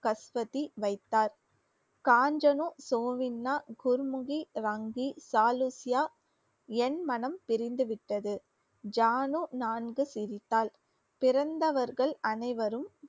கஸ்வதி வைத்தார். காஞ்சனு சோவின்னா குருமுகி ரங்கி தாலூஷ்யா. என் மனம் பிரிந்துவிட்டது ஜானு நான்கு சிரித்தாள். பிறந்தவர்கள் அனைவரும்